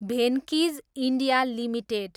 Venky's, India, limited